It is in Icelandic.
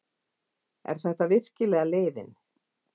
Er þetta virkilega leiðin?